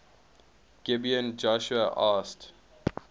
gibeon joshua asked